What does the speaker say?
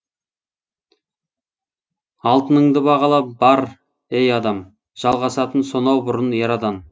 алтыныңды бағала бар ей адам жалғасатын сонау бұрын эрадан